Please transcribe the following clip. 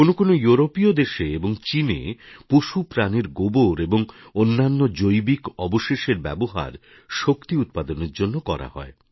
কোনও কোনও ইউরোপীয় দেশে এবং চিনে পশুপ্রাণীর গোবর এবং অন্যান্য জৈবিক অবশেষের ব্যবহার শক্তি উৎপাদনের জন্য করা হয়